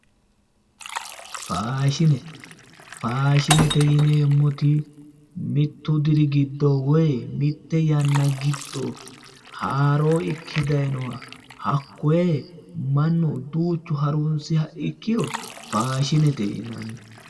Faashine, faashinete yinneemmoti mitu diri giddo woyi mite yannara giddo haaro ikke daayinoha hakkoe mannu duuchu harunsiha ikkiro faashinete yinnanni